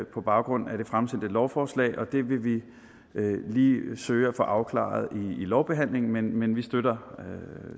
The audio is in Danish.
baggrund af det fremsatte lovforslag og det vil vi lige søge at få afklaret i lovbehandlingen men vi støtter